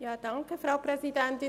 das Wort.